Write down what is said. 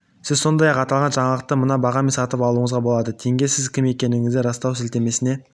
сіз сондай-ақ аталған жаңалықты мына бағамен де сатып алуыңызға болады тенге сіз кім екендігіңізді растау сілтемесіне